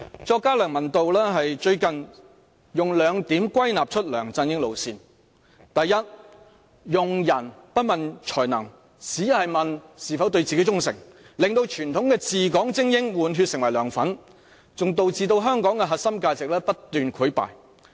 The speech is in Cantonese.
作家梁文道最近用兩點歸納出梁振英路線：第一，用人不問才能，只問是否對自己忠誠，令到傳統的治港精英換血成為"梁粉"，還導致香港的核心價值不斷潰敗。